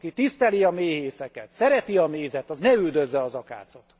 Aki tiszteli a méhészeket, szereti a mézet, az ne üldözze az akácot.